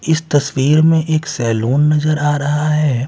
इस तस्वीर में एक सैलून नजर आ रहा हैं।